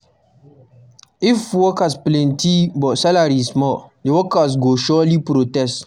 If work plenty but salary small, de worker go surely protest.